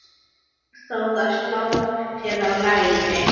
Sigþóra sló sér á lær.